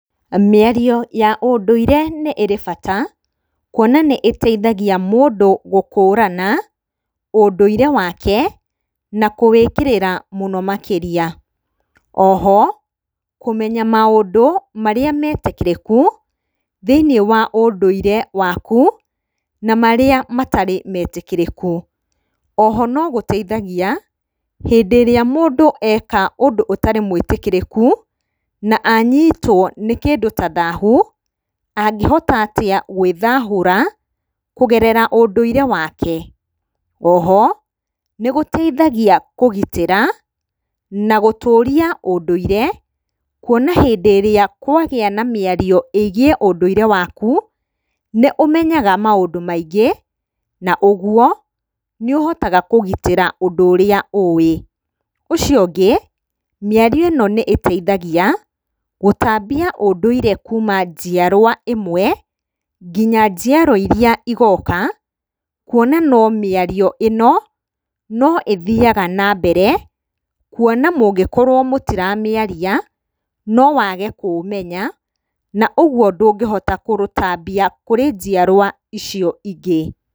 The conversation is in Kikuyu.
Mĩario ya ũndũire nĩĩrĩ bata, kuona nĩĩteithagia mũndũ gũkũrana ũndũire wake na kũwĩkĩrĩra mũno makĩria. O ho kũmenya maũndũ marĩa metĩkĩrĩku thĩiniĩ wa ũndũire waku na marĩa matarĩ metĩkĩrĩku. O ho nĩgũteithagia hĩndĩ ĩrĩa mũndũ eka ũndũ ũtarĩ mwĩtĩkĩrĩku na anyitwo nĩ kĩndũ ta thahu angĩhota atĩa gwĩthahũra kũgerera ũnduire wake. O ho nĩgũteithagia kũgitĩra na gũtũria ũndũire, kuona rĩrĩa kwagĩa na mĩario ĩgiĩ ũndũire waku nĩ ũmenyaga maũndũ maingĩ, na ũguo nĩ ũhotaga kũgitĩra ũndũ ũrĩa ũwĩ. Ũcio ũngĩ, mĩario ĩno nĩĩteithagia gũtambia ũndũire kuma njiarwa ĩmwe nginya njiarwa irĩa igoka, kuona no mĩario ĩno no ĩthiyaga na mbere, kuona mũngĩkorwo mũtiramĩaria no wage kũũmenya, na ũguo ndũngĩhota kũrũtambia kũrĩ njiarwa icio ingĩ.